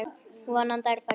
Vonandi er það rétt.